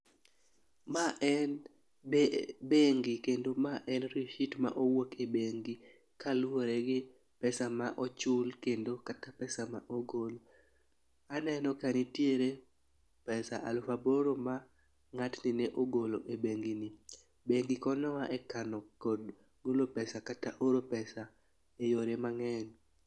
Ma en be bengi kendo ma en risit ma owuok e bengi kaluwore gi pesa ma ochul kendo kata pesa ma ogol . Aneno ka nitiere pesa alufa boro ma ng'atni ne ogolo e bengi ni .Bengi konyo wa e kano kod golo pesa kata oro pesa e yore mang'eny.